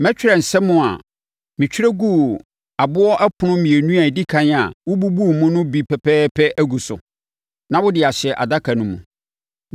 Mɛtwerɛ nsɛm a metwerɛ guu aboɔ ɛpono mmienu a ɛdi ɛkan a wobubuu mu no bi pɛpɛɛpɛ agu so. Na wode ahyɛ adaka no mu.”